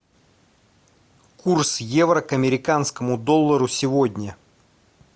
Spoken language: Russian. курс евро к американскому доллару сегодня